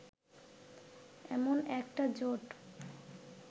এমন একটা জোট